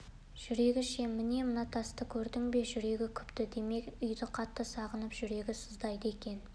жүрегі ше міне мына тасты көрдің бе жүрегі күпті демек үйді қатты сағынып жүрегі сыздайды екен